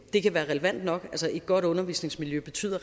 det kan være relevant nok et godt undervisningsmiljø betyder